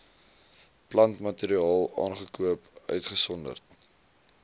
plantmateriaal aangekoop uitgesonderd